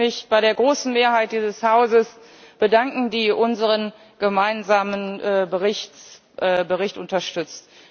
Ich möchte mich bei der großen Mehrheit dieses Hauses bedanken, die unseren gemeinsamen Bericht unterstützt.